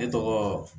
Ne tɔgɔ